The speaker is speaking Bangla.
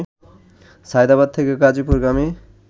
সায়েদাবাদ থেকে গাজীপুরগামী